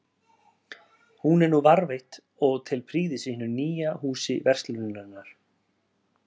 Hún er nú varðveitt og til prýðis í hinu nýja Húsi verslunarinnar.